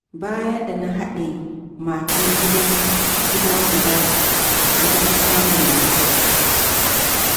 Bayan da na haɗe matan gida guda, na fi samun nutsuwa.